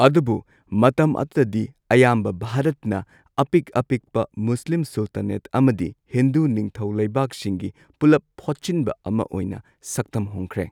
ꯑꯗꯨꯕꯨ, ꯃꯇꯝ ꯑꯗꯨꯗꯗꯤ, ꯑꯌꯥꯝꯕ ꯚꯥꯔꯠꯅ ꯑꯄꯤꯛ ꯑꯄꯤꯛꯄ ꯃꯨꯁꯂꯤꯝ ꯁꯨꯜꯇꯥꯅꯦꯠ ꯑꯃꯗꯤ ꯍꯤꯟꯗꯨ ꯅꯤꯡꯊꯧ ꯂꯩꯕꯥꯛꯁꯤꯡꯒꯤ ꯄꯨꯂꯞ ꯐꯣꯠꯆꯤꯟꯕ ꯑꯃ ꯑꯣꯏꯅ ꯁꯛꯇꯝ ꯍꯣꯡꯈ꯭ꯔꯦ꯫